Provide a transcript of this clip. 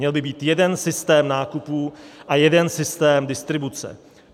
Měl by být jeden systém nákupů a jeden systém distribuce.